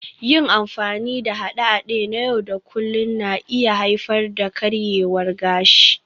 Yin amfani da haɗe-haɗe na yau da kullun na iya haifar da karyewar gashi